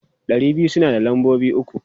Ɗari biyu suna da lambobi uku.